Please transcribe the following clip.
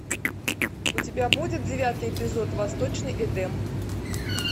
у тебя будет девятый эпизод восточный эдем